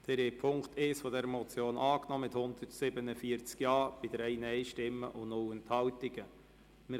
Sie haben Punkt 1 dieser Motion mit 147 Ja- bei 3 Nein-Stimmen und 0 Enthaltungen angenommen.